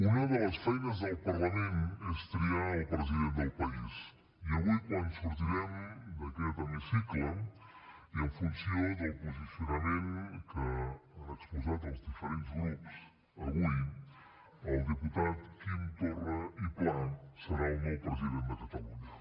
una de les feines del parlament és triar el president del país i avui quan sortirem d’aquest hemicicle i en funció del posicionament que han exposat els diferents grups avui el diputat quim torra i pla serà el nou president de catalunya